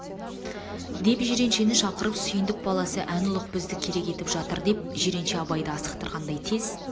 деп жиреншені шақырып сүйндік баласы ән ұлық бізді керек етіп жатыр деп жиренше абайды асықтырғандай тез